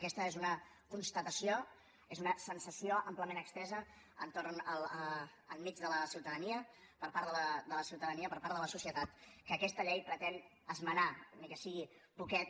aquesta és una constatació és una sensació àmpliament estesa enmig de la ciutadania per part de la ciutadania per part de la societat que aquesta llei pretén esmenar ni que sigui poquet